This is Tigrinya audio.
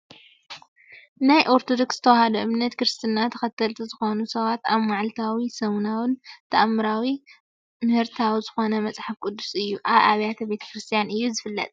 ናይ ኦርተዶክስ ተዋህዶ እምነት ክርስትና ተከተልቲ ዝኮኑ ሰባት ኣብ ማዕልታውን ሰሙናዊን ታኣምራዊ ምሕረታዊ ዝኮነ መፅሓፍ ቅዱስ እዩ። ኣብ ኣብያተ ቤተክርስትያን እዩ ዝፍለጥ።